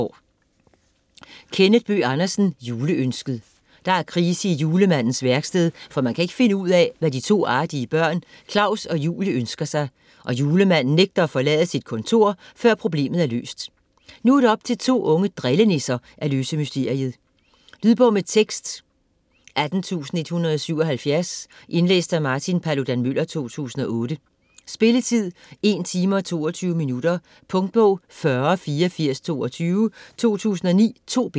Bøgh Andersen, Kenneth: Juleønsket Der er krise i julemandens værksted, for man kan ikke finde ud af, hvad de to artige børn Klaus og Julie ønsker sig, og Julemanden nægter at forlade sit kontor, før problemet er løst. Nu er det op til to unge drillenisser at løse mysteriet. Lydbog med tekst 18177 Indlæst af Martin Paludan-Müller, 2008. Spilletid: 1 timer, 22 minutter. Punktbog 408422 2009. 2 bind.